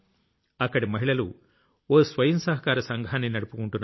అక్కడి మహిళలు ఓ స్వయం సహకార సంఘాన్ని నడుపుకుంటున్నారు